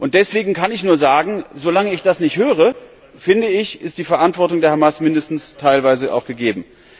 Deswegen kann ich nur sagen Solange ich das nicht höre, finde ich, ist die Verantwortung der Hamas mindestens teilweise auch gegeben.